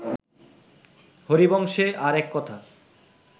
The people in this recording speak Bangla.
হরিবংশে আর এক কথা